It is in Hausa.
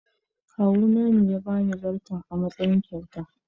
Kawuna ya ba ni zarto a matsayin kyauta.